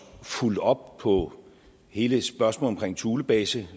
fulgt op på hele spørgsmålet omkring thulebasen og